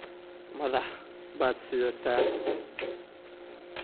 Madax baad sidataa.